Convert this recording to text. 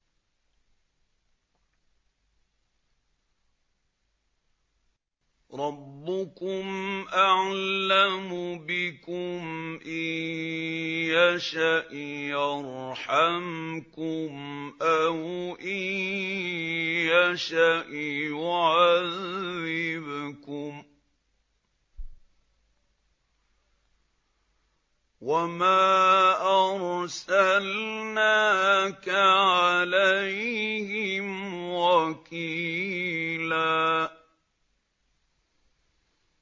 رَّبُّكُمْ أَعْلَمُ بِكُمْ ۖ إِن يَشَأْ يَرْحَمْكُمْ أَوْ إِن يَشَأْ يُعَذِّبْكُمْ ۚ وَمَا أَرْسَلْنَاكَ عَلَيْهِمْ وَكِيلًا